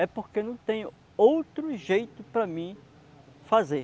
É porque não tem outro jeito para mim fazer.